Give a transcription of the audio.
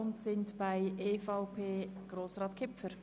Wir kommen nun zu den anderen Fraktionen.